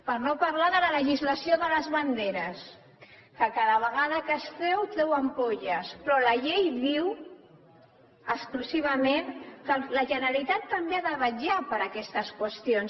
per no parlar de la legislació de les banderes que cada vegada que es treu fa sortir butllofes però la llei diu exclusivament que la generalitat també ha de vetllar per aquestes qüestions